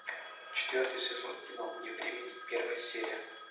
четвертый сезон кино вне времени первая серия